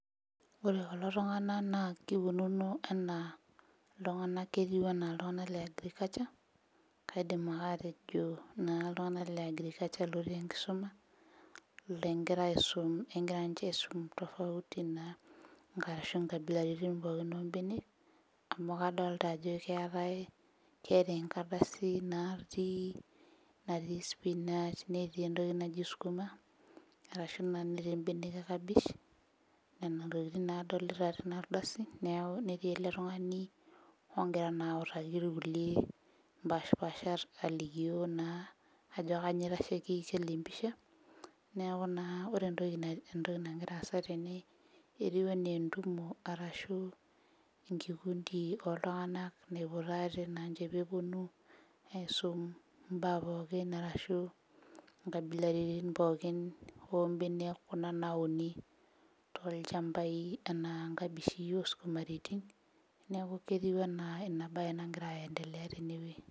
Ore kulo tung'ana naa kikununo anaa iltung'anak ketiu anaa ilyung'anak le agriculture kaidim ake atejo naa iltung'anak le agriculture lotii enkisuma lengira aisum engira ninche aisum tofauti naa inka arashu inkabilaritin pookin ombenek amu kadolta ajo keetae keeta enkardasi natii natii spinach netii entoki naji skuma[cs arashu naa netii imbenek e kabesh nena tokiting naa adolita tena ardasi neku netii ele tung'ani ongira naa autaki irkulie impashipashat alikio naa ajo kanyio itasheki kila empisha neeku naa ore entoki nae entoki nagira aasa tene etiu enaa entumo arashu enkikundi oltung'anak naipototo aate nanche peponu aisum imbaa pookin arashu inkabilarin ombenek kuna nauni tolchambai enaa nkabishi osumaritin neku ketiu enaa ina baye nagira endele tenewueji.